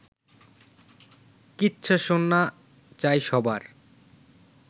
কিচ্ছা শোনা চাই সবার